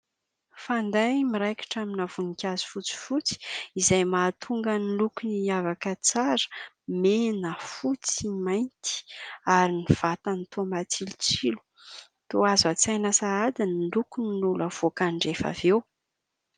Fanday miraikitra amina voninkazo fotsifotsy izay mahatonga ny lokony hiavaka tsara, mena, fotsy, mainty ary ny vatany toa matsilotsilo, toa azo an-tsaina sahady ny lokon'ny lolo ho havoakany rehefa avy eo.